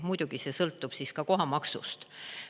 Muidugi see sõltub ka kohamaksust.